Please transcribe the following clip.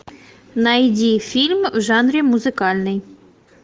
найди фильм в жанре музыкальный